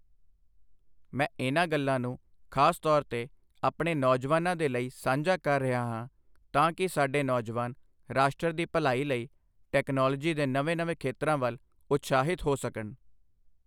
ਮੈਂ ਇਨ੍ਹਾਂ ਗੱਲਾਂ ਨੂੰ ਖ਼ਾਸ ਤੌਰ ਤੇ ਆਪਣੇ ਨੌਜਵਾਨਾਂ ਦੇ ਲਈ ਸਾਂਝਾ ਕਰ ਰਿਹਾ ਹਾਂ ਤਾਂ ਕਿ ਸਾਡੇ ਨੌਜਵਾਨ ਰਾਸ਼ਟਰ ਦੀ ਭਲਾਈ ਲਈ ਟੈਕਨਾਲੋਜੀ ਦੇ ਨਵੇਂ ਨਵੇਂ ਖੇਤਰਾਂ ਵੱਲ ਉਤਸ਼ਾਹਿਤ ਹੋ ਸਕਣ।